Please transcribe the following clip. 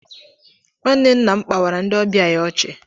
Nwanne nna m kpawara ndị ọbịa ya ọchị